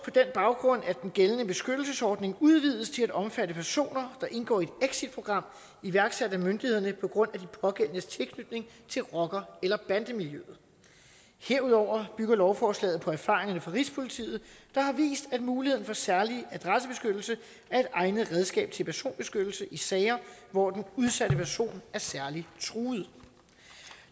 baggrund at den gældende beskyttelsesordning udvides til at omfatte personer der indgår i et exitprogram iværksat af myndighederne på grund af de pågældendes tilknytning til rocker eller bandemiljøer herudover bygger lovforslaget på erfaringerne fra rigspolitiet der har vist at muligheden for særlig adressebeskyttelse er et egnet redskab til personbeskyttelse i sager hvor den udsatte person er særlig truet